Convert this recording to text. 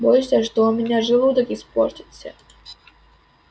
боишься что у меня желудок испортится